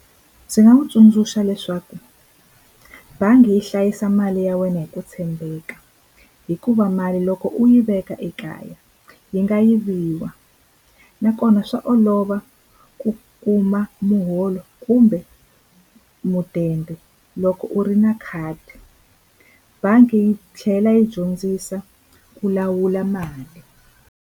Ndzi nga n'wi tsundzuxa leswaku bangi yi hlayisa mali ya wena hi ku tshembeka hikuva mali loko u yi veka ekaya yi nga yiviwa nakona swa olova ku kuma muholo kumbe mudende loko u ri na khadi bangi yi tlhela yi dyondzisa ku lawula mali.